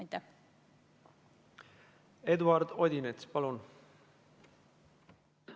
Eduard Odinets, palun!